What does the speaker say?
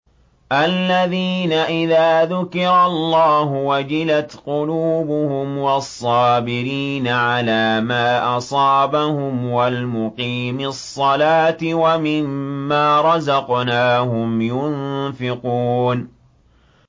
الَّذِينَ إِذَا ذُكِرَ اللَّهُ وَجِلَتْ قُلُوبُهُمْ وَالصَّابِرِينَ عَلَىٰ مَا أَصَابَهُمْ وَالْمُقِيمِي الصَّلَاةِ وَمِمَّا رَزَقْنَاهُمْ يُنفِقُونَ